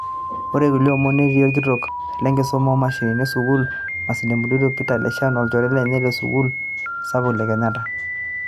ore kulie omon netii olkitok le nkisuma oo mashinini e sukuul e masinde muliro Peter Leshan olchore lenye le sukuul sapuk e kenyatta